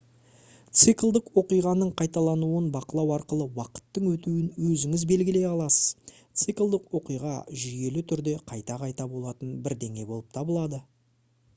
циклдік оқиғаның қайталануын бақылау арқылы уақыттың өтуін өзіңіз белгілей аласыз циклдік оқиға жүйелі түрде қайта-қайта болатын бірдеңе болып табылады